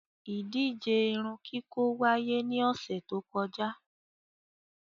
Ìdije irunkiko waiye ni ọsẹ to kọja